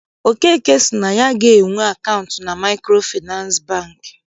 Okeke sị na ya agaghị enwe akaụntụ na Maịkrofịnansị Bankị.